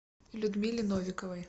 людмиле новиковой